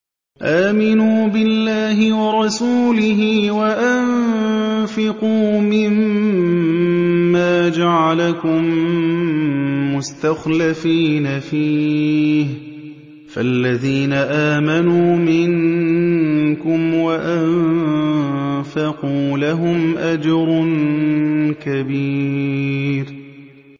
آمِنُوا بِاللَّهِ وَرَسُولِهِ وَأَنفِقُوا مِمَّا جَعَلَكُم مُّسْتَخْلَفِينَ فِيهِ ۖ فَالَّذِينَ آمَنُوا مِنكُمْ وَأَنفَقُوا لَهُمْ أَجْرٌ كَبِيرٌ